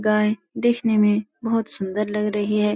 गाय देखने में बोहोत सुन्दर लग रही है।